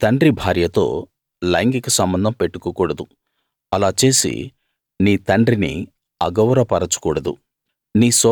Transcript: నీ తండ్రి భార్యతో లైంగిక సంబంధం పెట్టుకోకూడదు అలా చేసి నీ తండ్రిని అగౌరవ పరచకూడదు